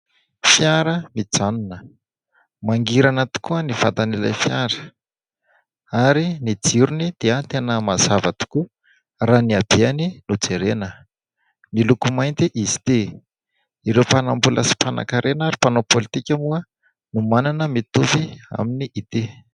Fiara mijanona, mangirana tokoa ny vatan'ilay fiara ary ny jirony dia tena mazava tokoa raha ny abeany no jerena, miloko mainty izy dia ireo mpanambola sy mpanankarena ary mpanao politika moa no manana mitovy aminy ity.